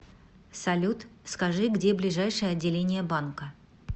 салют скажи где ближайшее отделение банка